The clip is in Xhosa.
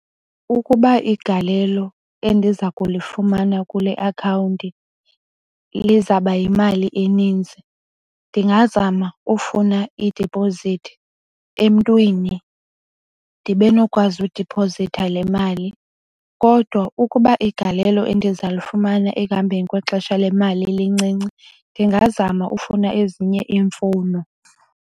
Ukuba igalelo endiza kulifumana kule akhawunti lizaba yimali eninzi ndingazama ufuna idipozithi emntwini ndibe nokwazi udiphozitha le mali. Kodwa ukuba igalelo endiza lufumana ekuhambeni kwexesha le mali lincinci ndingazama ufuna ezinye iimfuno.